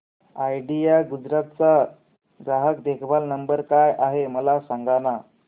idea Gujarat चा ग्राहक देखभाल नंबर काय आहे मला सांगाना